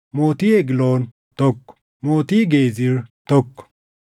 mootii Egloon, tokko mootii Geezir, tokko